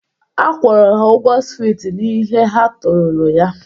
Akwụrụ m ha ụgwọ swit n'ihe ha torolo ya.